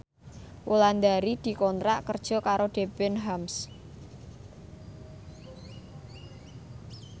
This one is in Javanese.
Wulandari dikontrak kerja karo Debenhams